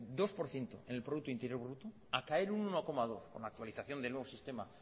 dos por ciento en el producto interior bruto a caer un uno coma dos con la actualización del nuevo sistema